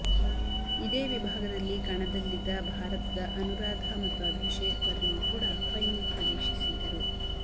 ಇದೇ ವಿಭಾಗದಲ್ಲಿ ಕಣದಲ್ಲಿದ್ದ ಭಾರತದ ಅನುರಾಧ ಮತ್ತು ಅಭಿಷೇಕ್ ವರ್ಮಾ ಕೂಡಾ ಫೈನಲ್ ಪ್ರವೇಶಿಸಿದ್ದರು